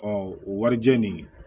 o warijɛ nin